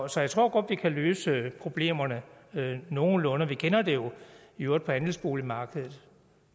så jeg tror godt vi kan løse problemerne nogenlunde vi kender det jo på andelsboligmarkedet